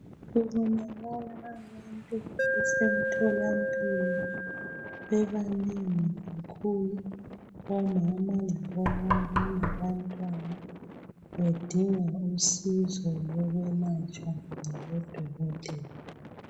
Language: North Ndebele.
kubonakala abantu besemtholampilo bebanengi kakhulu omama labo baba labantwana bedinga usizo lokwelatshwa ngabo dokotela